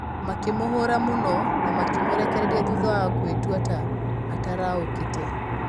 Makĩmũhũũra mũno no makĩmũrekereria thutha wa kwĩtua ta ataũrũkĩte.